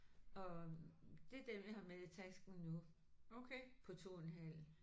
Og det er dem jeg har med i tasken nu på 2 en halv